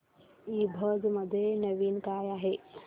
ईबझ मध्ये नवीन काय आहे